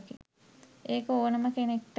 ඒක ඕනෙම කෙනෙක්ට